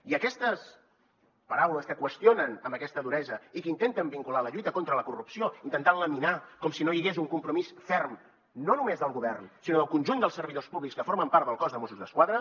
i aquestes paraules que qüestionen amb aquesta duresa i que intenten vincular la lluita contra la corrupció intentant laminar com si no hi hagués un compromís ferm no només del govern sinó del conjunt dels servidors públics que formen part del cos de mossos d’esquadra